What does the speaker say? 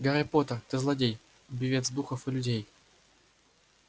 гарри поттер ты злодей убивец духов и людей